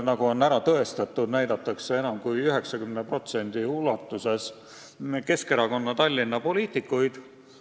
Nagu on ära tõestatud, näidatakse seal enam kui 90% ulatuses Keskerakonna Tallinna-poliitikuid.